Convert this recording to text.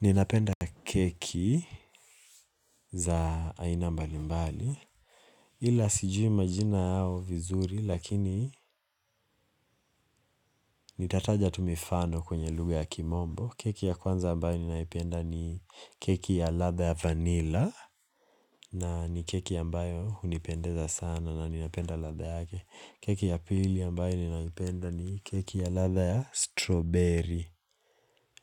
Ninapenda keki za aina mbali mbali. Ila sijui majina yao vizuri lakini nitataja tu mifano kwenye lugha ya kimombo. Keki ya kwanza ambayo ninaipenda ni keki ya latha ya vanilla. Na ni keki ya ambayo hunipendeza sana na ninapenda latha yake. Keki ya pili ambayo ninaipenda ni keki ya latha ya strawberry.